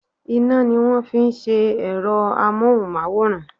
Iná ni wón fi ń ṣe èrọ amóhùnmáwòrán.